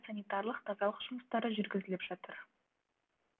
санитарлық тазалық жұмыстары жүргізіліп жатыр